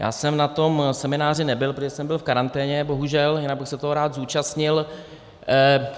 Já jsem na tom semináři nebyl, protože jsem byl v karanténě, bohužel, jinak bych se toho rád zúčastnil.